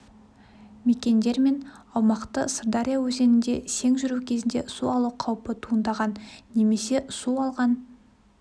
мекендер мен аумақты сырдария өзенінде сең жүру кезінде су алу қаупі туындаған немесе су алған